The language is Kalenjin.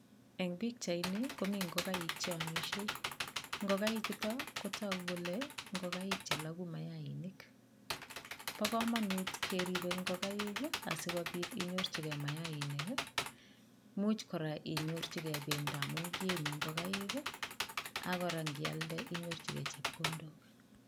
Eng' pikchaini komi ngokaik cheomisei ngokaichoto kotogu kole ngokaik cheloku mayainik bo kamanut keribei ngokaik asikobit kenyorchigei mayainik muuch kora inyorchigei bendo amu kienyei ngokaik akora ngialde inyorchigei chepkondok